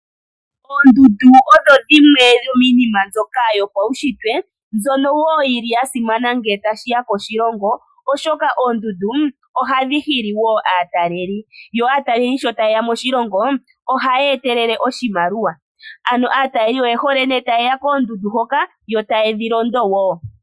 Oondundu odho dhimwe dhomiinima yimwe mbyoka yopaushitwe mbyono wo yili ya simana ngele tashiya koshilongo, oshoka oondundu ohadhi hili wo aataleli, yo aataleli sho taye ya moshilongo ohaya etelele oshimaliwa. Ano aataleli oye hole nee taye ga koondundu hoka yo taye dhi londo wo.